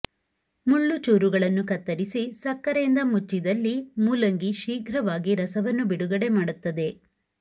ಮುಳ್ಳು ಚೂರುಗಳನ್ನು ಕತ್ತರಿಸಿ ಸಕ್ಕರೆಯಿಂದ ಮುಚ್ಚಿದಲ್ಲಿ ಮೂಲಂಗಿ ಶೀಘ್ರವಾಗಿ ರಸವನ್ನು ಬಿಡುಗಡೆ ಮಾಡುತ್ತದೆ